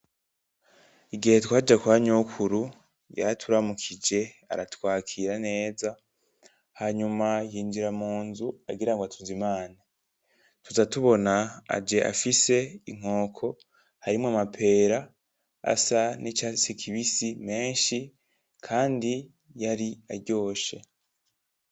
Igihe twaja kwa Nyokuru, yaraturamukije aratwakira neza, hanyuma yinjira munzu agira atuzimane, tuza tubona afise inkoko harimwo amapera asa n'icatsi kibisi menshi kandi yari aryoshe.